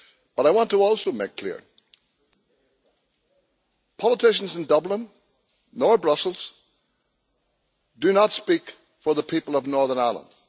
But I want to also make clear that politicians in Dublin or Brussels do not speak for the people of Northern Ireland.